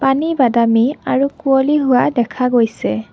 বাদামী আৰু কুঁৱলী হোৱা দেখা গৈছে।